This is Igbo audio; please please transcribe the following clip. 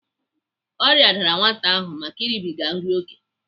Ọrịa dara nwata ahụ make ịrịbịga nri oké.